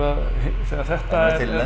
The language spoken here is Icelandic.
þegar þetta er